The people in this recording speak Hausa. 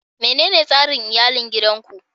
Menene tsarin iyalin gidan ku?